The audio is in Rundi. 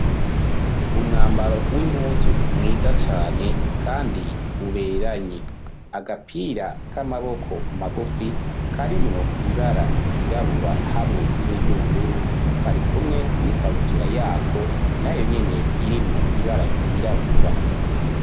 Umwambaro w'impuzu mwiza cane kandi uberanye agapira k'amaboko magufi karimwo ibara ryirabura hamwe niryubururu kari kumwe n'ikabutura yako nayo nyene irimwo ibara ryirabura.